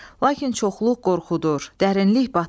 Lakin çoxluq qorxudur, dərinlik batırır.